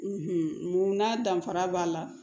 mun na danfara b'a la